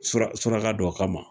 Sura surka dɔ kama